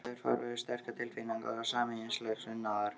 Kynlíf er farvegur sterkra tilfinninga og sameiginlegs unaðar.